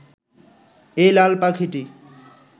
এই লাল পাখিটি